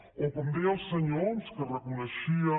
o com deia el senyor homs que reconeixia